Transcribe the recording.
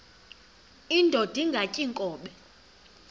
indod ingaty iinkobe